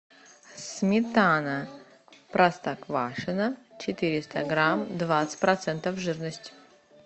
сметана простоквашино четыреста грамм двадцать процентов жирности